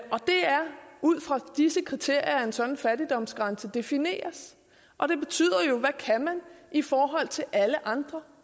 ud fra disse kriterier at en sådan fattigdomsgrænse defineres og det betyder jo hvad kan man i forhold til alle andre